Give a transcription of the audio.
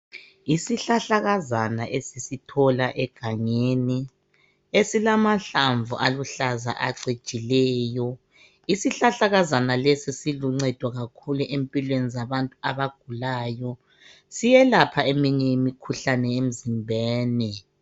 Isihlahlakazana esisithola egangeni esilamahlamvu aluhlaza acijileyo, isihlahlazana lesI siluncedo kakhulu empilweni zabantu abagulayo siyelapha eminye imikhuhlane emzimbeni.